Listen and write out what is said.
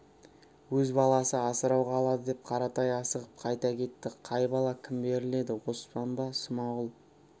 өз баласы асырауға алады деп қаратай асығып қайта кетті қай бала кім беріледі оспан ба смағұл